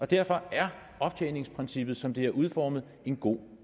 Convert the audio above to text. derfor er optjeningsprincippet som det er udformet en god